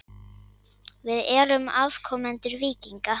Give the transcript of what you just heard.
Við erum afkomendur víkinga.